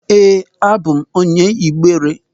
Ee, abụ m onye Igbere.